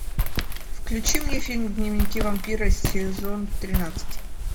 включи мне фильм дневники вампира сезон тринадцать